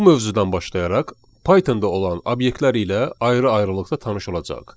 Bu mövzudan başlayaraq Python-da olan obyektlər ilə ayrı-ayrılıqda tanış olacağıq.